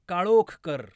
काळोख कर.